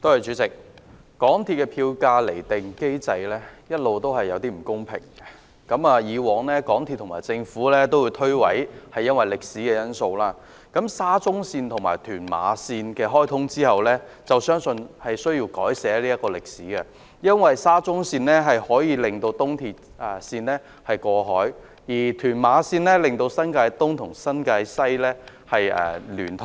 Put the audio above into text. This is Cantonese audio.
港鐵公司的票價釐定機制一直存在不公平之處，港鐵公司和政府過往會推諉說問題源於歷史因素，但在沙中綫及屯馬綫開通後，相信這歷史需要改寫，因為沙中綫令東鐵綫可以過海，而屯馬綫則令新界東及新界西聯通。